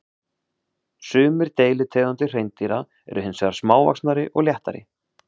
Sumir deilitegundir hreindýra eru hins vegar smávaxnari og léttari.